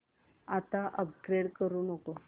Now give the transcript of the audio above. आता अपग्रेड करू नको